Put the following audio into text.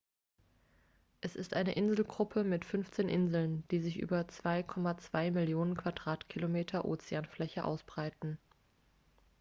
es ist eine inselgruppe mit 15 inseln die sich über 2,2 millionen quadratkilometer ozeanfläche ausbreiten